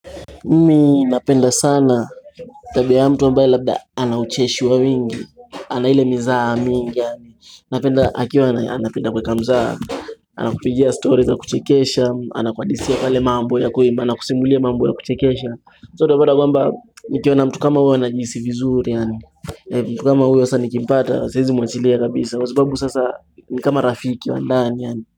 Mimi napenda sana, tabia ya mtu ambae labda ana ucheshi wa wingi, ana ile mizaha mingi Napenda akiwa anapenda kuweka mzaha, ana kupigia story za kuchekesha, ana kuhadithia pale mambo ya kuimba, anakusimulia mambo ya kuchekesha So unapata kwamba, nikiwa na mtu kama huyo huwa najihis vizuri yaani, mtu kama uyo sasa nikimpata, siwezi mwachilia kabisa, kwasababu sasa ni kama rafiki wa ndani yaani.